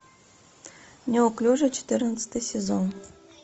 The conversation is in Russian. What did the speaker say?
неуклюжий четырнадцатый сезон